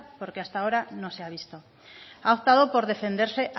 porque hasta ahora no se ha visto ha optado por defenderse